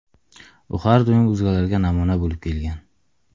U har doim o‘zgalarga namuna bo‘lib kelgan.